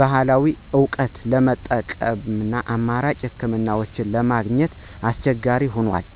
ባህላዊ እውቀትን ለመጠበቅና አማራጭ ሕክምናዎችን ለማግኘት አስቸጋሪ ሆኗል።